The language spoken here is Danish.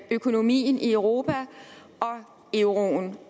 økonomien i europa og euroen